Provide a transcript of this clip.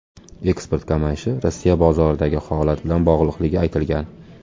Eksport kamayishi Rossiya bozoridagi holat bilan bog‘liqligi aytilgan.